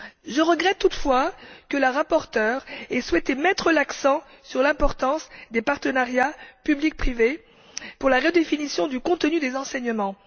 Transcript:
Je regrette toutefois que la rapporteure ait souhaité mettre l'accent sur l'importance des partenariats public privé pour la redéfinition du contenu des enseignements.